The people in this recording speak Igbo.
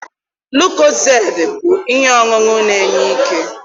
lucozade bụ ihe ọṅụṅụ na enye ike